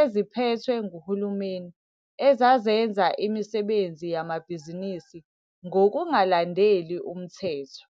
eziphethwe nguhulumeni ezazenza imisebenzi yamabhizinisi ngokungalandeli umthetho.